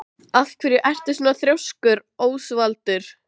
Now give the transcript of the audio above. Þá heyrði ég rúður brotna, oftar en einu sinni.